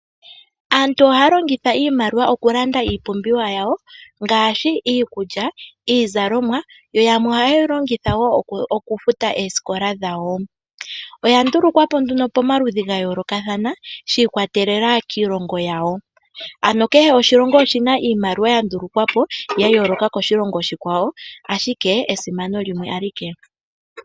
Aantu ohaya longitha iimaliwa okulanda iipumbiwa yawo ngaashi iikulya niizalomwa. Yamwe ohaye yi longitha okufuta oosikola dhawo. Oya ndulukwa po nduno pamaludhi ga yoolokathana shi ikwatelela kiilongo yawo. Kehe oshilongo oshi na iimaliwa yasho ya ndulukwa po ya yooloka koshilongo oshikwawo, ashike esimano limwe alike.